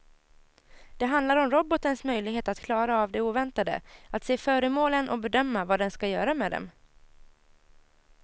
Det handlar om robotens möjlighet att klara av det oväntade, att se föremålen och bedöma vad den ska göra med dem.